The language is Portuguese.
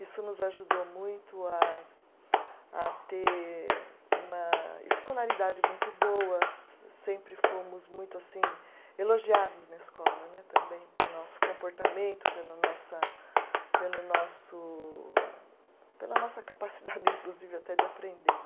Isso nos ajudou muito a a ter uma escolaridade muito boa, se sempre fomos muito assim elogiados na escola né, também por nosso comportamento, pela nossa, pelo nosso, pela nossa capacidade, inclusive, até de aprender.